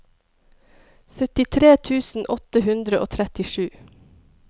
syttitre tusen åtte hundre og trettisju